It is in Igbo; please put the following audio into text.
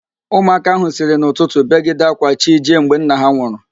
Ụmụaka ahụ siri n'ụtụtụ begide ạ́kwá chi jie mgbe nna ha nwụrụ